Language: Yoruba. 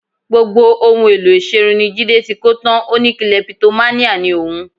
Gbogbo ohun èlò ìṣerun ni Jídé ti kó tán, ó ní kilẹpitománíà ni òun